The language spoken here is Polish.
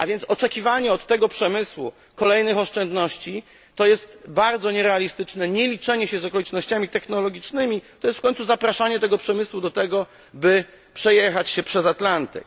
A więc oczekiwanie od tego przemysłu kolejnych oszczędności to jest bardzo nierealistyczne nieliczenie się z okolicznościami technologicznymi, to jest w końcu zapraszanie tego przemysłu do tego, by przejechać się przez Atlantyk.